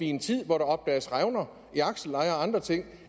i en tid hvor der opdages revner i aksellejer og andre ting